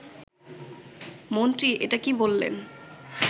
মন্ত্রী এটা কী বললেন